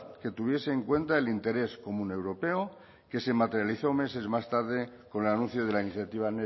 que tuviese en cuenta el interés común europeo que se materializó meses más tarde con el anuncio de la iniciativa